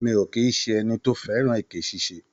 Mi ò kì í ṣe ẹni tó fẹ́ràn èké ṣíṣe.